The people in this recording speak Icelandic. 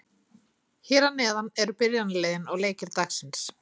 Hér að neðan eru byrjunarliðin og leikir dagsins.